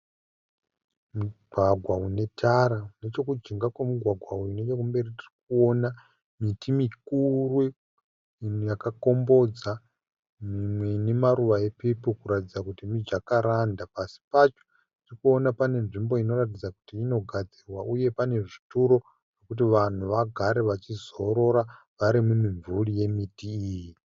Mugwagwa unetara nechekujinga kwemugwagwa uyu nechekumberi tirikuona miti mikuru . Mimwe yakakombodza mimwe inemaruva epepo kuratidza kuti miJacaranda . Pasi pacho tirikuona pane nzvimbo inoratidza kuti inogadzirwa uye pane zvituro kuti vangu vagare vachizorora vari mumimvuri yemiti iyi.